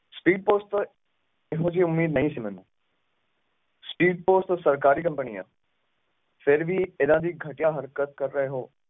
speedpost ਤੋਂ ਇਹੋ ਜਹੀ ਉਮੀਦ ਨਹੀਂ ਸੀ ਮੈਨੂੰ speedpost ਤੋਂ ਸਰਕਾਰੀ company ਆ ਫੇਰ ਵੀ ਇੱਦਾਂ ਦੀ ਘਟੀਆ ਹਰਕਤ ਕਰ ਰਹੇ ਹੋ